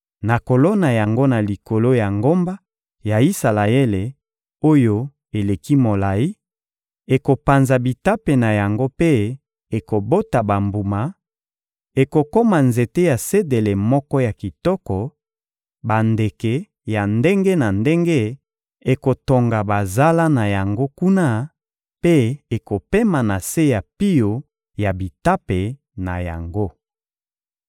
Nakolona yango na likolo ya ngomba ya Isalaele oyo eleki molayi; ekopanza bitape na yango mpe ekobota bambuma, ekokoma nzete ya sedele moko ya kitoko; bandeke ya ndenge na ndenge ekotonga bazala na yango kuna mpe ekopema na se ya pio ya bitape na yango.